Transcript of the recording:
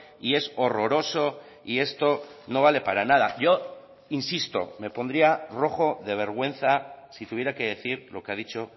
y es horroroso y esto no vale para nada yo insisto me pondría rojo de vergüenza si tuviera que decir lo que ha dicho